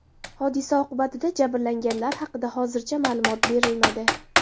Hodisa oqibatida jabrlanganlar haqida hozircha xabar berilmadi.